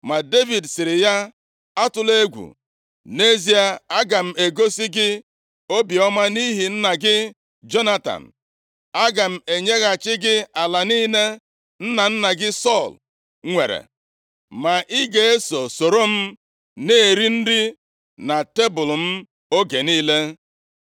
Ma Devid sịrị ya, “Atụla egwu, nʼezie, aga m egosi gị obiọma nʼihi nna gị Jonatan. Aga m enyeghachi gị ala niile nna nna gị Sọl nwere. Ma ị ga-eso soro m na-eri nri na tebul m oge niile.”